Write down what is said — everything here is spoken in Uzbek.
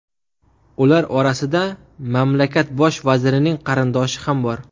Ular orasida mamlakakt bosh vazirining qarindoshi ham bor.